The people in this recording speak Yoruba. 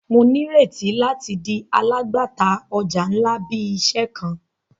Mo nireti lati di alagbata ọja nla bi iṣẹ kan.